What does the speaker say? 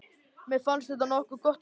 Mér fannst þetta nokkuð gott hjá mér.